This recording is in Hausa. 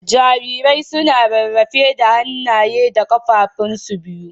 Jarirai suna rarrafe da hanaye da kafafun su biyu.